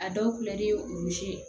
A dɔw